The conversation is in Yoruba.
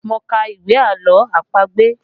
Mo ka ìwé àlọ́ àpagbè